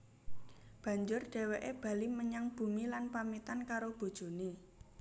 Banjur dhèwèké bali menyang bumi lan pamitan karo bojoné